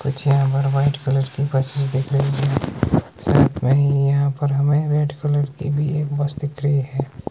कुछ यहां पर वाइट कलर की बसेस दिख रही हैं साइड में ही यहां पर हमें रेड कलर की भी एक बस दिख रही है।